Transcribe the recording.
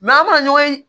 an bɛ na ɲɔgɔn ye